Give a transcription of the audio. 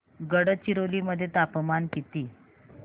गडचिरोली मध्ये तापमान किती